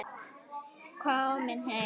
Komin heim?